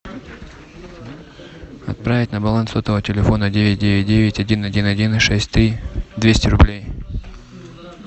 отправить на баланс сотового телефона девять девять девять один один один шесть три двести рублей